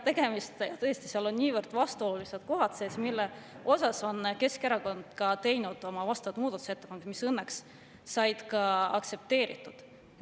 Seal on sees niivõrd vastuolulised kohad, mille kohta on Keskerakond teinud oma muudatusettepanekud, mis õnneks said ka aktsepteeritud.